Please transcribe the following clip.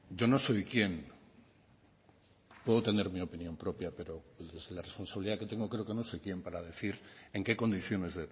yo no soy quién puedo tener mi opinión propia pero pese a la responsabilidad que tengo creo que no soy quién para decir en qué condiciones